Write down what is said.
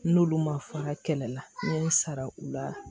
N'olu ma fa kɛlɛ la n'i y'o sara u la